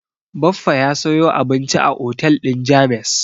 Baffa ya sayo abinci a otel din James.